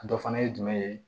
A dɔ fana ye jumɛn ye